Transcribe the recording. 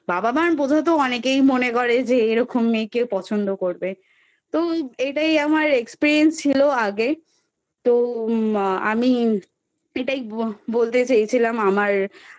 বাবা মার বোঝা তো অনেকেই মনে করে যে এরকম মেয়ে কেউ পছন্দ করবে? তো এটাই আমার Experience ছিল আগে তো মা আমি এটাই বলতে চেয়েছিলাম আমার